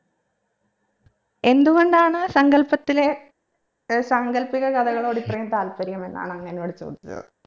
എന്ത് കൊണ്ടാണ് സങ്കൽപ്പത്തിലെ ഏർ സാങ്കല്പിക കഥകളോട് ഇത്രയും താല്പര്യം എന്നാണ് അങ് എന്നോട് ചോദിച്ചത്